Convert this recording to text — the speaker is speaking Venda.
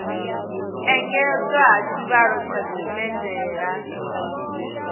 engedzwa ha tshivhalo tsha dzimedala